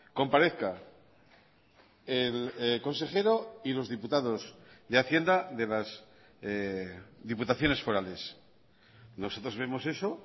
comparezca el consejero y los diputados de hacienda de las diputaciones forales nosotros vemos eso